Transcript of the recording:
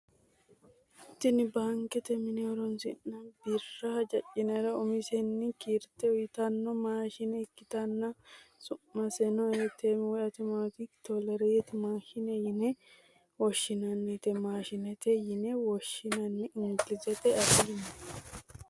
tini baankete mine horonsi'nanni birra hajanjiro umisenni kiirte uyiitanno maashine ikkitanna, su'miseno ATM(authomatic tailor machine) yine woshshinannite maashiineeti yine woshshinanni engilizete afiinni.